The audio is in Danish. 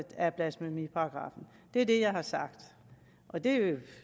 af blasfemiparagraffen det er det jeg har sagt og det